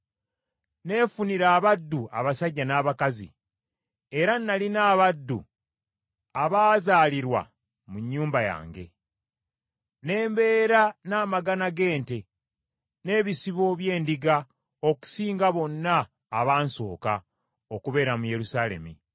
Neefunira abaddu abasajja n’abakazi, era nalina abaddu abaazaalirwa mu nnyumba yange. Ne mbeera n’amagana g’ente n’ebisibo by’endiga okusinga bonna abansooka okubeera mu Yerusaalemi.